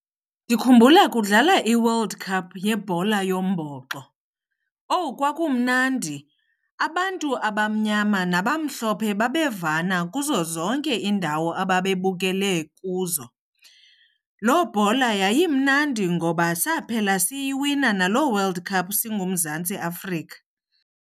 Ndikhumbula kudlala iWorld Cup yebhola yombhoxo. Owu kwakumnandi, abantu abamnyama nabamhlophe babevana kuzo zonke iindawo ababebukele kuzo. Loo bhola yayimnandi ngoba saphela siyiwina naloo World Cup singuMzantsi Afrika.